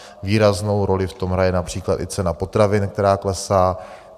Výraznou roli v tom hraje například i cena potravin, která klesá.